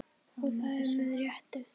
Og það með réttu.